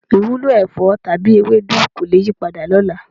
Ìwúlò ẹ̀fọ́ tàbí ewédú kò le yípadà lọ́la.